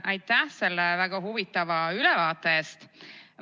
Aitäh selle väga huvitava ülevaate eest!